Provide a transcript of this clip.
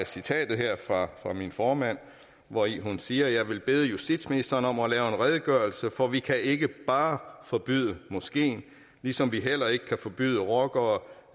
citatet fra min formand hvori hun siger jeg vil bede justitsministeren om at lave en redegørelse for vi kan ikke bare forbyde moskeen ligesom vi heller ikke kan forbyde rockere